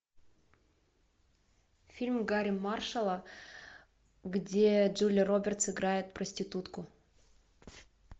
фильм гарри маршалла где джулия робертс играет проститутку